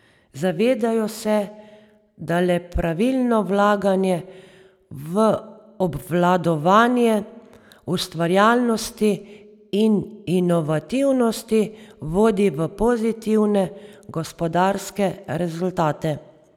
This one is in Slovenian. Zavedajo se, da le pravilno vlaganje v obvladovanje ustvarjalnosti in inovativnosti vodi v pozitivne gospodarske rezultate.